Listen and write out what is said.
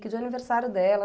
Que dia é o aniversário dela?